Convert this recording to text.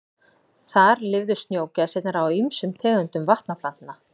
Þar lifðu snjógæsirnar á ýmsum tegundum vatnaplantna.